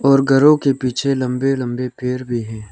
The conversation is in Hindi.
और घरों के पीछे लंबे लंबे पैर भी हैं।